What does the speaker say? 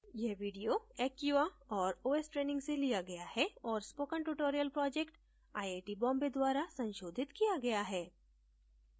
यह video acquia और os training से लिया गया है और spoken tutorial project IIT Bombay द्वारा संशोधित किया गया है